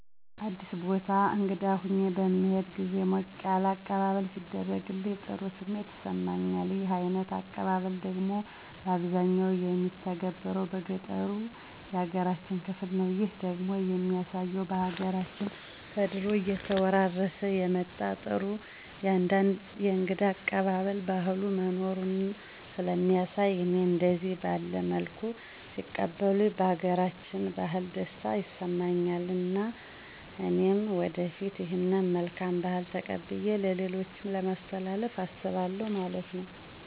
አዲስ ቦታ እንግዳ ሁኘ በምሄድበት ግዜ ሞቅ ያለ አቀባበለሌ ሲደረግልኝ ጥሩ ስሜት ይሰማኛል። ይህ አይነት አቀባበል ደግሞ ባብዛኛው የሚተገበረው በገጠሩ ያገራችን ክፍል ነው። ይህ ደግሞ የሚያሳየው በሀገራችን ከድሮ እየተወራረሠ የመጣ ጥሩ የእንግዳ አቀባበል ባህል መኖሩን ሥለሚያሣይ እኔም እደዚህ ባለ መልኩ ሲቀበሉኝ ባገራችን ባህል ደስታ ይሠማኝ እና እኔም ወደፊት ይህን መልካም ባህል ተቀብየ ለሌሎችም ለማሥተላለፍ አስባለሁ ማለት ነው።